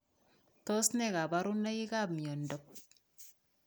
Tos ne kaborunoikap miondop